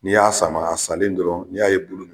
N'i y'a sanbaga a salen dɔrɔn n'a ye